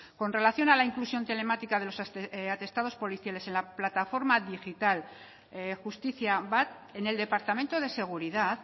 con relación a la inclusión telemática de los atestados policiales en la plataforma digital justizia bat en el departamento de seguridad